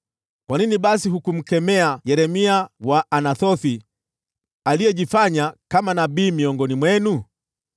Kwa nini basi hukumkemea Yeremia Mwanathothi, aliyejifanya kama nabii miongoni mwenu?